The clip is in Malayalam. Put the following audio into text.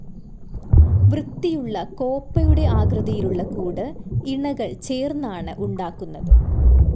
വൃത്തിയുള്ള കോപ്പയുടെ ആകൃതിയിലുള്ള കൂട് ഇണകൾ ചേർന്നാണ് ഉണ്ടാക്കുന്നത്.